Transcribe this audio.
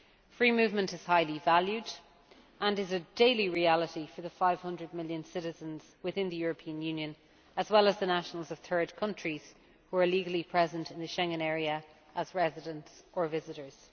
Free movement is highly valued, and is a daily reality for the 500 million citizens within the European Union, as well as the nationals of third countries who are legally present in the Schengen area as residents or visitors.